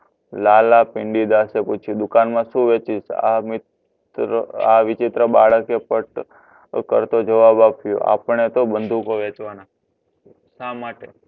લાલા ભિંડીદાસે પૂછ્યું દુકાન માં શું વેચીશ આ વિચિત્ર બાળકે પટ કરતો જવાબ આપ્યો આપણે તો બંદૂકો વેચવાન શા માટે